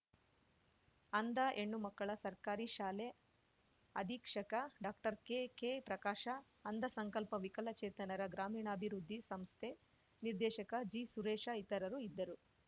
ಅಂಧ ಹೆಣ್ಣುಮಕ್ಕಳ ಸರ್ಕಾರಿ ಶಾಲೆ ಅಧೀಕ್ಷಕ ಡಾಕ್ಟರ್ಕೆಕೆಪ್ರಕಾಶ ಅಂಧಸಂಕಲ್ಪ ವಿಕಲಚೇತನರ ಗ್ರಾಮೀಣಾಭಿವೃದ್ಧಿ ಸಂಸ್ಥೆ ನಿರ್ದೇಶಕ ಜೆಸುರೇಶ ಇತರರು ಇದ್ದರು